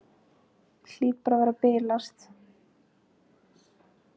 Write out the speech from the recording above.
Hlýt bara að vera að bilast.